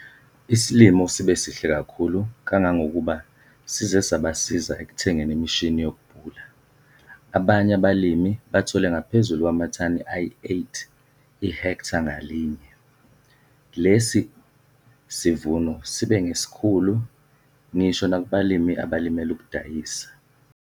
Isilimo sibe sihle kakhulu kangangokuba size sabasiza ekuthengeni imishini yokubhula - abanye abalimi bathole ngaphezulu kwamathani ayi-8 ihektha ngalinye. Lesi yisivuno sibe ngesiesikhulu ngisho nakubalimi abalimela ukudayisa!